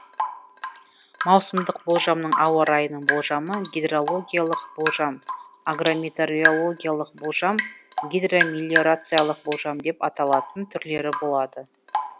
маусымдық болжамның ауа райының болжамы гидрологиялық болжам агрометеорологиялық болжам гидромелиорациялық болжам деп аталатын түрлері болады